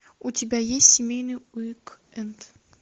у тебя есть семейный уик энд